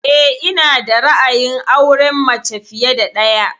Eh, ina da ra'ayin auren mace fiye da ɗaya